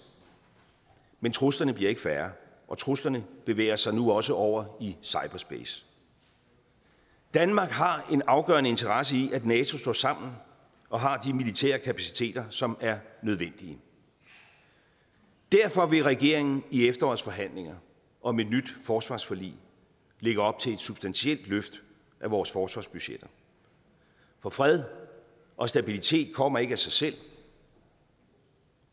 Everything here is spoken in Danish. men truslerne bliver ikke færre og truslerne bevæger sig nu også over i cyberspace danmark har en afgørende interesse i at nato står sammen og har de militære kapaciteter som er nødvendige derfor vil regeringen i efterårets forhandlinger om et nyt forsvarsforlig lægge op til et substantielt løft af vores forsvarsbudgetter for fred og stabilitet kommer ikke af sig selv